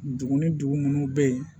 Dugu ni dugu munnu be yen